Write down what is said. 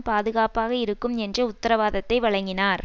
பாதுகாப்பாக இருக்கும் என்ற உத்தரவாதத்தை வழங்கினார்